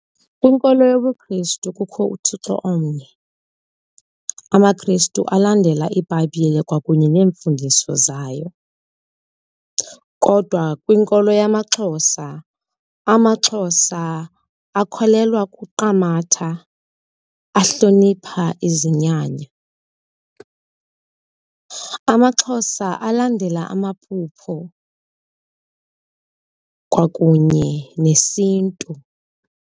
Kwinkolo yobuKristu kukho uThixo omnye, amaKrestu alandela iBhayibhile kwakunye neemfundiso zayo. Kodwa kwinkolo yamaXhosa, amaXhosa akholelwa kuQamata, ahlonipha izinyanya. AmaXhosa alandela amaphupho kwakunye nesiNtu.